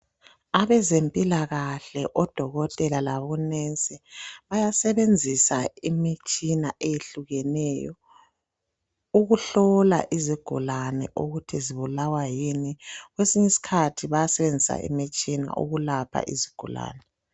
Abezempilakahle odokotela labonensi bayasebenzisa imitshina eyehlukeneyo ukuhlola izigulane ukuthi zibulawa yini. Kwesinye isikhathi bayasebenzisa imitshina ukulapha izigulane.